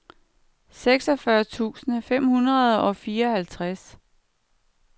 seksogfyrre tusind fem hundrede og fireoghalvtreds